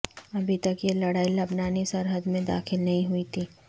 ابھی تک یہ لڑائی لبنانی سرحد میں داخل نہیں ہوئی تھی